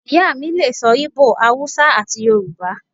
Iya mi lè so̩ íbò, Awúsá ati Yoruba